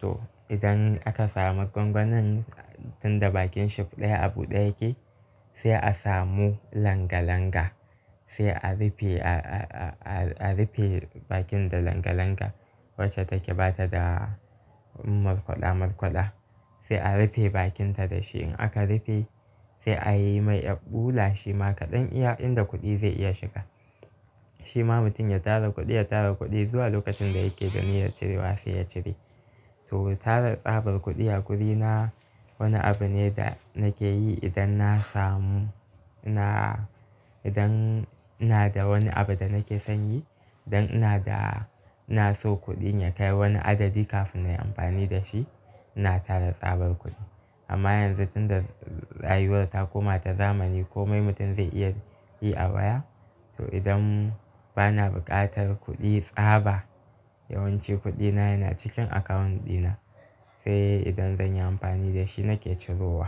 To idan aka samu gwangwanin tunda bakin shaf ɗaya a buɗe yake sai a samu langa langa. Sai a rufe, a, a, a, a rufe bakin da langa langa wacce take bata da markwaɗa markwaɗa. Sai a rufe bakinta da shi. In aka rufe sai a yi mai erɓula shima kaɗan iya, inda kuɗi zai iya shiga. Shima mutum ya tara kuɗi, ya tara kuɗi zuwa lokacin da yake da niyar cirewa sai ya cire. To tara tsabar kuɗi a guri na wani abu ne da nake yi idan na samu, na, idan ina da wani abu da nake son yi. Dan ina da, ina so kuɗin ya kai wani adadi kafin na yi amfani da shi. Ina tara tsabar kuɗi. Amma yanzu tunda rayuwa ta koma ta zamani komai mutum zai iya yi a waya. To idan bana buƙatar kuɗi tsaba yawanci kuɗina yana cikin account ɗina. Sai idan zan yi amfani da shi nake cirowa.